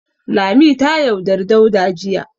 Lami ta yaudari Dauda jiya.